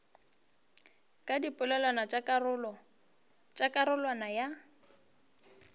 ka dipeelano tša karolwana ya